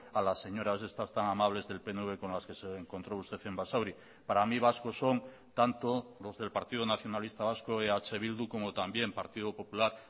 a las señoras estas tan amables del pnv con las que se encontró usted en basauri para mí vascos son tanto los del partido nacionalista vasco eh bildu como también partido popular